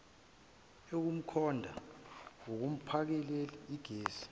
yokukhononda kumphakeli gesi